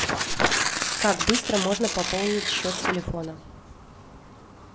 как быстро можно пополнить счет телефона